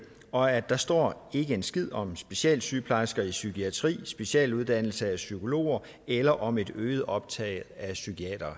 og at der står ikke en skid om specialsygeplejersker i psykiatri specialuddannelse af psykologer eller om et øget optag af psykiatere